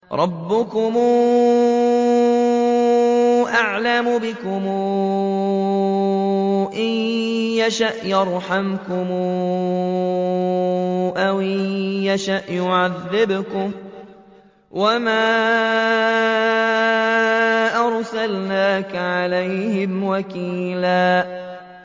رَّبُّكُمْ أَعْلَمُ بِكُمْ ۖ إِن يَشَأْ يَرْحَمْكُمْ أَوْ إِن يَشَأْ يُعَذِّبْكُمْ ۚ وَمَا أَرْسَلْنَاكَ عَلَيْهِمْ وَكِيلًا